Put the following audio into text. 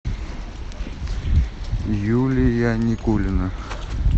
юлия никулина